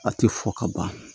A tɛ fɔ ka ban